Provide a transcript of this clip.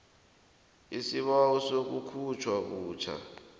isibawo sokukhutjhwa butjha